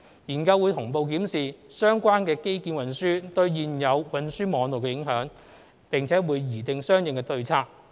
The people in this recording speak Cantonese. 研究會同步檢視相關的運輸基建對現有運輸網絡的影響，並擬訂相應的對策。